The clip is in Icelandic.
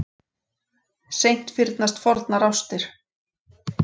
Seint fyrnast fornar ástir.